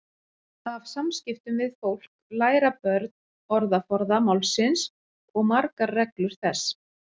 Af samskiptum við fólk læra börn orðaforða málsins og margar reglur þess.